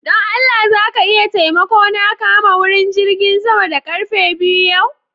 Don Allah za ka iya taimako na kama wurin jigin sama da karfe biyu yau?